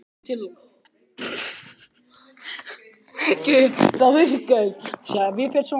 Hver hafði áhrif á leikstíl þinn?